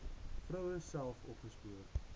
vroue self opgespoor